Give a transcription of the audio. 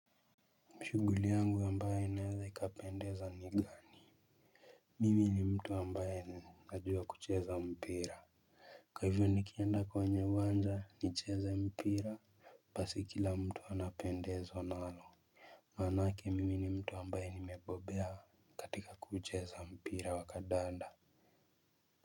Shughuli yangu ambayo inaweza ikapendeza ni gani. Mimi ni mtu ambaye ni najua kucheza mpira. Kwa hivyo nikienda kwa wenye uwanja nicheza mpira basi kila mtu anapendezwa nalo maanake mimi ni mtu ambaye nimebobea katika kucheza mpira wa kadanda.